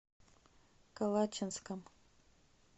калачинском